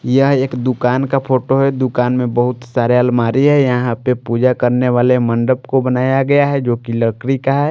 यह एक दुकान का फोटो है दुकान में बहुत सारे अलमारी है यहां पे पूजा करने वाले मंडप को बनाया गया है जो कि लकरी का है।